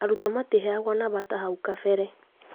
Arutwo matiheagwo namba ta hau kabere